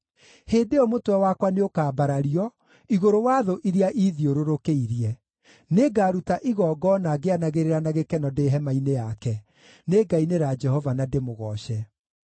Hĩndĩ ĩyo mũtwe wakwa nĩũkambarario igũrũ wa thũ iria iithiũrũrũkĩirie; nĩngaruta igongona ngĩanagĩrĩra na gĩkeno ndĩ hema-inĩ yake; nĩngainĩra Jehova na ndĩmũgooce.